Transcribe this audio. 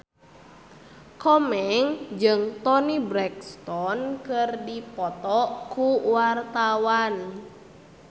Komeng jeung Toni Brexton keur dipoto ku wartawan